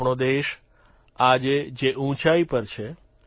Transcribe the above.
આપણો દેશ આજે જે ઉંચાઇ પર છે